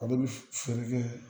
Ale bi feere kɛ